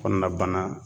Kɔnɔna bana